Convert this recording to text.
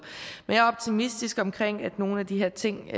men jeg er optimistisk omkring at nogle af de her ting